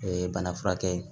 O ye bana furakɛ ye